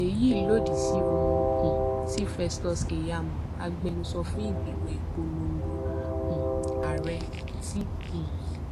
èyí lòdì sí ohun um tí festus keyamo agbẹnusọ fún ìgbìmọ ìpolongo um ààrẹ ti um